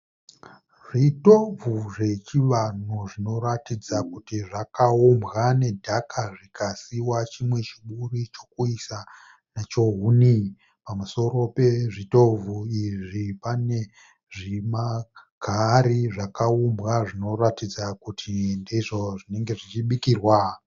Zvitovhu zvechivanhu zvinoratidza kuti zvakaumbwa nedhaka zvikasiiwa chimwe chiburi chekuisa nacho huni. Pamusoro pezvitovhu izvi pane zvimahari zvakaumbwa zvinoratidza kuti ndizvo zvinenge zvichibikirwa.